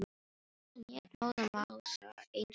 Hann lét móðan mása eins og kjáni.